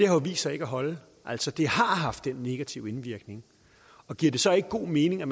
har vist sig ikke at holde altså det har haft den negative indvirkning giver det så ikke god mening at